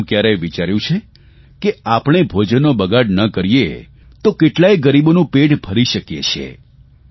શું કયારેય વિચાર્યું છે કે આપણે ભોજનનો બગાડ ન કરીએ તો કેટલાક ગરીબોનું પેટ ભરી શકીએ છીએ